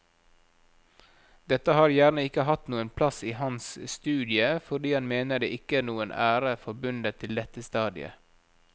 Dette har gjerne ikke hatt noen plass i hans studie fordi han mener det ikke er noen ære forbundet til dette stadiet.